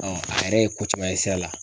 a yɛrɛ ye ko caman ye sira la.